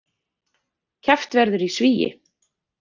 Keppt verður í svigi